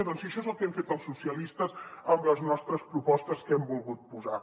doncs això és el que hem fet els socialistes amb les nostres propostes que hi hem volgut posar